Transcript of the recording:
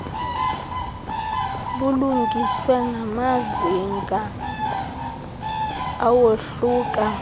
bulungiswe ngamazinga awohluka